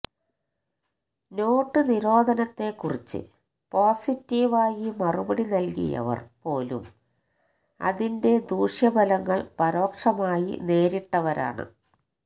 not നിരോധനത്തെ കുറിച്ച് പോസിറ്റീവായി മറുപടി നല്കിയവര് പോലും അതിന്റെ ദൂഷ്യഫലങ്ങള് പരോക്ഷമായി നേരിട്ടവരാണ്